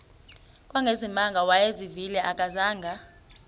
kangangezimanga awayezivile akazanga